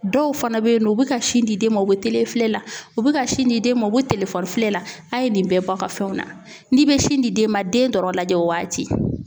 Dɔw fana bɛ yen nɔ u bɛ ka sin di den ma u bɛ filɛ la u bɛ ka sin di den ma u bɛ telefɔni filɛ la a' ye nin bɛɛ bɔ a ka fɛnw na n'i bɛ sin di den ma den dɔrɔn lajɛ o waati.